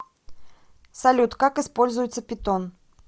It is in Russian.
салют как используется питон